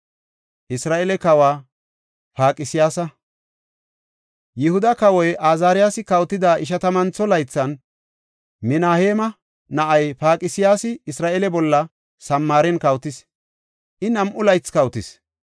Yihuda kawoy Azaariyasi kawotida ishatamantho laythan, Minaheema na7ay Paqsiyaasi Isra7eele bolla Samaaren kawotis; I nam7u laythi kawotis.